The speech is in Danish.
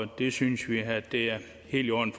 det synes vi er det helt i orden